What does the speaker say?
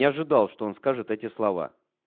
не ожидал что он скажет эти слова